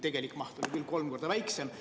Tegelik maht on küll kolm korda väiksem.